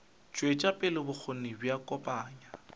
tšwetša pele bokgoni bja kopanya